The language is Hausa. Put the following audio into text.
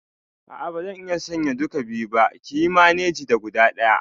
A'a bazan iya sayan duka biyu ba, kiyi maneji da guda ɗaya